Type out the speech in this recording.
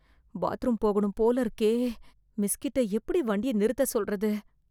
bathroom போகணும் போல இருக்கே... மிஸ் கிட்ட எப்டி வண்டிய நிறுத்தச் சொல்றது...